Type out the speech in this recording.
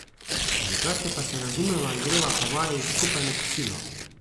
Drugače pa se razumeva in greva po vaji skupaj na kosilo.